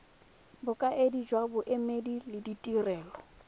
bokaedi jwa boemedi le ditirelo